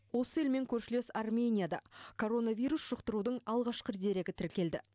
осы елмен көршілес арменияда коронавирус жұқтырудың алғашқы дерегі тіркелді